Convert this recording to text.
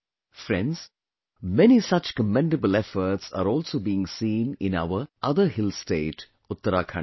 Friends, many such commendable efforts are also being seen in our, other hill state, Uttarakhand